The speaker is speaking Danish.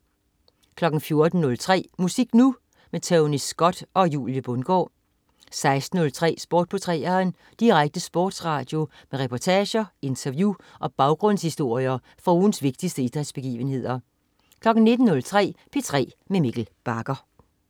14.03 Musik Nu! Tony Scott og Julie Bundgaard 16.03 Sport på 3'eren. Direkte sportsradio med reportager, interview og baggrundshistorier fra ugens vigtigste idrætsbegivenheder 19.03 P3 med Mikkel Bagger